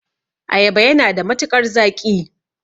Ayaba yana da matukar zaƙi.